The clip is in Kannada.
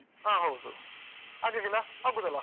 ಹ ಹೌದು ಆಗ್ಲಿಕ್ಕಿಲ್ಲಾ? ಹೋಗ್ಬೋದಲ್ಲಾ?